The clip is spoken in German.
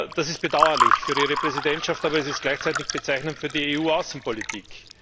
Das ist bedauerlich für Ihre Präsidentschaft, aber es ist gleichzeitig bezeichnend für die EU Außenpolitik.